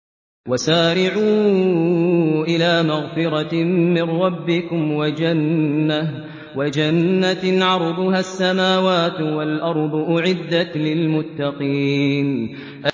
۞ وَسَارِعُوا إِلَىٰ مَغْفِرَةٍ مِّن رَّبِّكُمْ وَجَنَّةٍ عَرْضُهَا السَّمَاوَاتُ وَالْأَرْضُ أُعِدَّتْ لِلْمُتَّقِينَ